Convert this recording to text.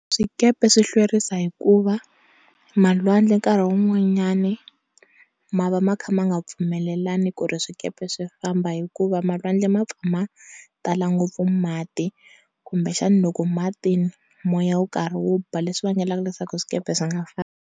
Swikepe swi hlwerisa hi ku va malwandle nkarhi wun'wanyani ma va makha ma nga pfumelelani ku ri swikepe swi famba hikuva malwandle mapfa ma tala ngopfu mati kumbe xani loko mati ni moya wu karhi wu ba leswi vangelaku leswaku swikepe swi nga fambi.